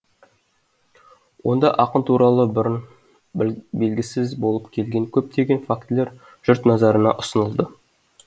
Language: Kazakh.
онда ақын туралы бұрын белгісіз болып келген көптеген фактілер жұрт назарына ұсынылды